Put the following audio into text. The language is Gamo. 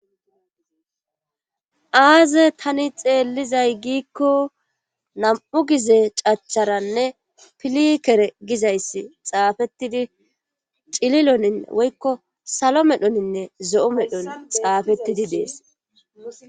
Aaze tani xeellizay giikko nam7u gize cacharanne pilikere gizayssi xaafettidi cililonin woykko salo medhoninne zo7u medhon xaafettidi dees.